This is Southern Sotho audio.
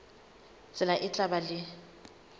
tsela e tla ba le